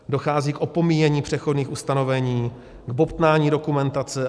Dochází k opomíjení přechodných ustanovení, k bobtnání dokumentace.